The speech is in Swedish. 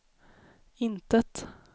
intet